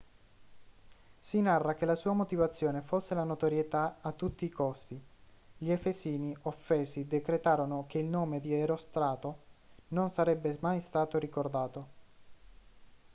si narra che la sua motivazione fosse la notorietà a tutti i costi gli efesini offesi decretarono che il nome di erostrato non sarebbe mai stato ricordato